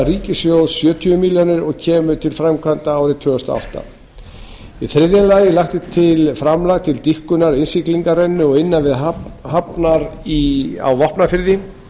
ríkissjóðs sjötíu milljónum króna og kemur til framkvæmda árið tvö þúsund og átta þriðja lagt er til framlag til dýpkunar innsiglingarrennu og innan hafnar á vopnafirði